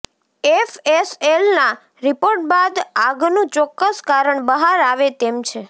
એફએસએલના report બાદ આગનું ચોક્કસ કારણ બહાર આવે તેમ છે